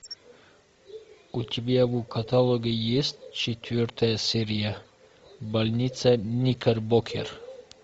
у тебя в каталоге есть четвертая серия больница никербокер